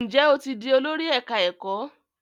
Njé o tí dì Olórí ẹka ẹkọ?